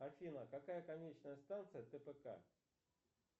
афина какая конечная станция тпк